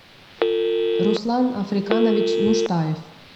руслан африканович нуштаев